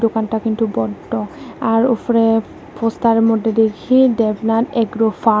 দোকানটা কিন্তু বন্ধ আর ওফরে পোস্তার মধ্যে দেখি দেবনাথ এগ্রো ফার্ম ।